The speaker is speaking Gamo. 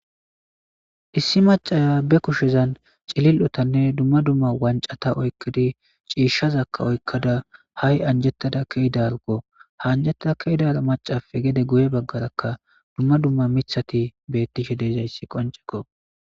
Issi macaya be kushezan cilil7otanne dumma dumma wancata oykkidi ciishshazakka oykkada hai anjettada keeidargo haanjettada kedara macafe gede goye baggarakka dumma dumma mithati bettishe deezayssi qonceko